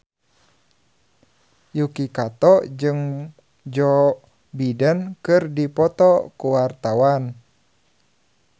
Yuki Kato jeung Joe Biden keur dipoto ku wartawan